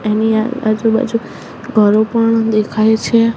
એની આ આજુ બાજુ ઘરો પણ દેખાય છે.